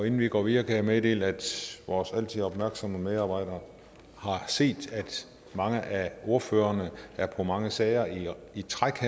inden vi går videre kan jeg meddele at vores altid opmærksomme medarbejdere har set at mange af ordførerne her er på mange sager i træk